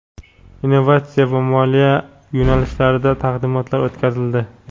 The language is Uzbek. innovatsiya va moliya yo‘nalishlarida taqdimotlar o‘tkazildi.